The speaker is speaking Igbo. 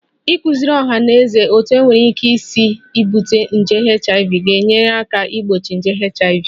Ịkụziri ọha na eze banyere otú e nwere ike isi bute nje HIV ga-enyere aka gbochie nje HIV